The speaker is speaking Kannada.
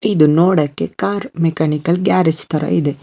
ಇದು ನೋಡಕ್ಕೆ ಕಾರ್ ಮೆಕಾನಿಕಲ್ ಗ್ಯಾರೇಜ್ ತರ ಇದೆ.